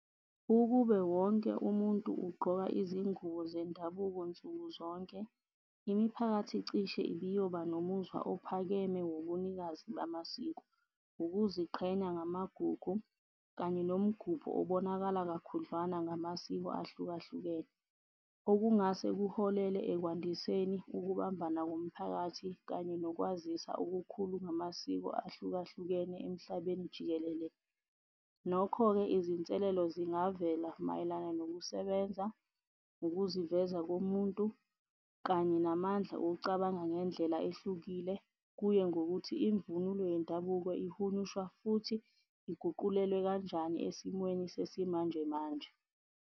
Ukube wonke umuntu ugqoka izingubo zendabuko nsuku zonke, imiphakathi cishe ibiyoba nomuzwa ophakeme wobunikazi bamasiko. Ukuziqhenya ngamagugu kanye nomgubho obonakalayo kakhudlwana ngamasiko ahlukahlukene, okungase kuholele ekwandiseni ukubambana komphakathi kanye nokwazisa okukhulu ngamasiko ahlukahlukene emhlabeni jikelele. Nokho-ke, izinselelo zingavela mayelana nokusebenza, ukuziveza komuntu kanye namandla okucabanga ngendlela ehlukile, kuye ngokuthi imvunulo yendabuko ihunyushwa futhi iguqulelwe kanjani esimweni sesimanjemanje.